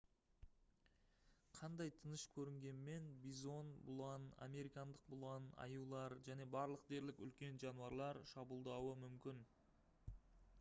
қандай тыныш көрінгенімен бизон бұлан американдық бұлан аюлар және барлық дерлік үлкен жануарлар шабуылдауы мүмкін